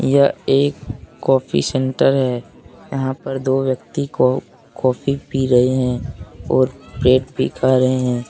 यह एक coffee centre है। यहाँ पर दो व्यक्ति कॉ कॉफ़ी पी रहे है और ब्रेड भी खा रहे है।